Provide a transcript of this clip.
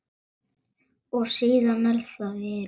Og síðan er það veðrið.